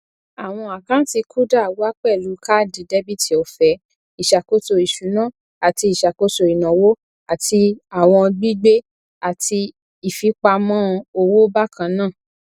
àwọn àkántì kuda wà pẹlú káàdì dẹbìtì ọfẹ ìṣàkóso ìṣúná àti ìṣàkóso ìnáwó àti àwọn gbigbe àti ìfipamọ owó bákannáà